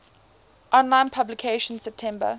online publication september